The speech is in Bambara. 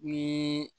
Ni